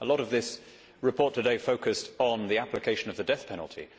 A lot of this report today focused on the application of the death penalty.